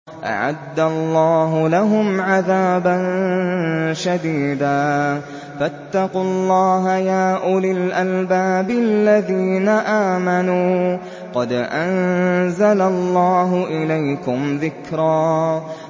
أَعَدَّ اللَّهُ لَهُمْ عَذَابًا شَدِيدًا ۖ فَاتَّقُوا اللَّهَ يَا أُولِي الْأَلْبَابِ الَّذِينَ آمَنُوا ۚ قَدْ أَنزَلَ اللَّهُ إِلَيْكُمْ ذِكْرًا